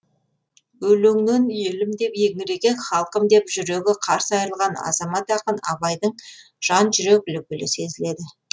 өлеңнен елім деп еңіреген халқым деп жүрегі қарс айрылған азамат ақын абайдың жан жүрек лүпілі сезіледі